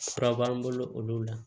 Fura b'an bolo olu la